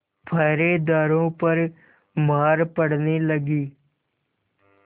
पहरेदारों पर मार पड़ने लगी